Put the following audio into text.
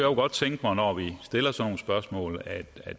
godt tænke mig når vi stiller sådan nogle spørgsmål at